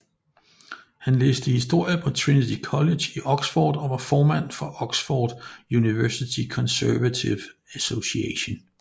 Han læste historie på Trinity College i Oxford og var formand for Oxford University Conservative Association